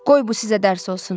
Qoy bu sizə dərs olsun.